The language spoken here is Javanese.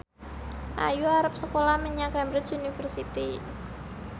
Ayu arep sekolah menyang Cambridge University